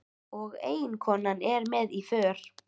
Og eiginkonan er með í för.